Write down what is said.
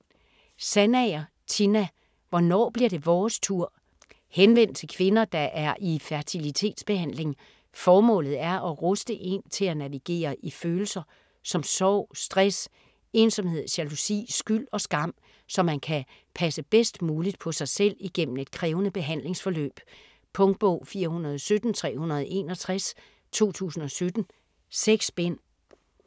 Sandager, Tina: Hvornår bliver det vores tur? Henvendt til kvinder, der er i fertilitetsbehandling. Formålet er at ruste en til at navigere i følelser som sorg, stress, ensomhed, jalousi, skyld og skam, så man kan passe bedst muligt på sig selv igennem et krævende behandlingsforløb. Punktbog 417361 2017. 6 bind.